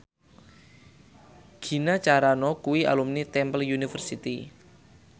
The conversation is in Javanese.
Gina Carano kuwi alumni Temple University